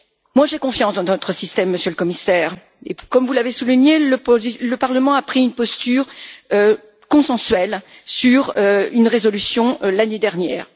Moi, j'ai confiance dans notre système, Monsieur le Commissaire, et puis, comme vous l'avez souligné, le Parlement a pris une posture consensuelle sur dans une résolution l'année dernière.